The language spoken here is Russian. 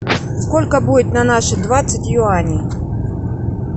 сколько будет на наши двадцать юаней